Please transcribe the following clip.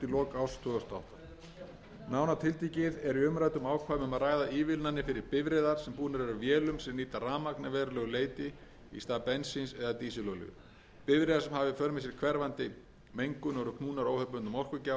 og átta nánar tiltekið er í umræddum ákvæðum um að ræða ívilnanir fyrir bifreiðar sem búnar eru vélum sem nýta rafmagn að verulegu leyti í stað bensíns eða dísilolíu bifreiðar sem hafa í för með sér hverfandi mengun og eru knúnar óhefðbundnum orkugjafa svo sem rafhreyfli eða vetni bifreiðar sem búnar eru vélum og